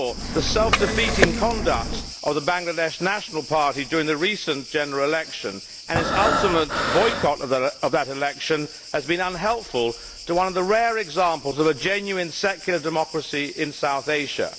The self defeating conduct of the Bangladesh National Party during the recent general election and its ultimate boycott of that election have been unhelpful to one of the rare examples of a genuine secular democracy in South Asia.